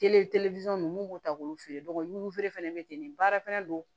ninnu mun b'u ta k'olu feere feere fana bɛ ten de baara fɛnɛ n